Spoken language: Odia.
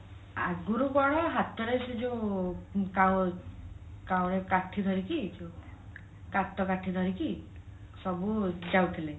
ଆଗରୁ କଣ ହାତରେ ସେ ଯୋଉ କାଠି ଧରିକି କାଠି ଧରିକି ସବୁ ଯାଉଥିଲେ